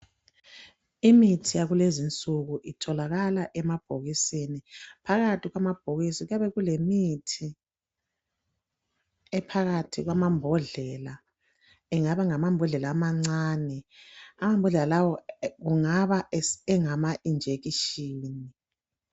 Imithi yakulezinsuku itholakala emabhokisini phakathi kumabhokisi kuyabe kulemithi ephakathi kwamambodlela engama ngamambodlela amancane amambhodlela lawa kungaba esengama injekishini